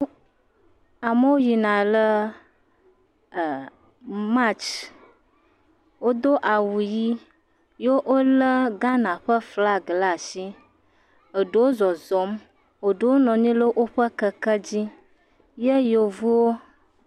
Amewo yina le ee… March wodo awu ʋi ye wolé Ghana ƒe flaga ɖe asi, eɖewo zɔzɔm eɖewo nɔ anyi le woƒe kekewo dzi yevuwo.